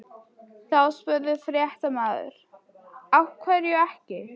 Þá spurði fréttamaður: Af hverju ekki?